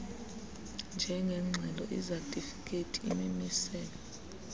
njengeengxelo izatifikhethi imimiselo